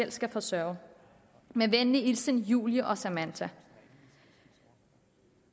i skal forsørge med venlig hilsen julie og samantha